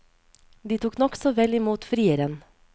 De tok nokså vel imot frieren.